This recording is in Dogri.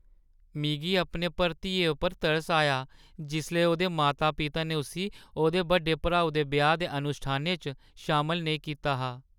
मिगी अपने भतरीए पर तरस आया जिसलै ओह्दे माता-पिता ने उस्सी ओह्दे बड्डे भ्राऊ दे ब्याह् दे अनुश्ठानें च शामल नेईं कीता हा।